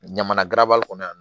Ɲamana garabali kɔnɔ yan